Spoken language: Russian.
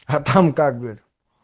а там как бы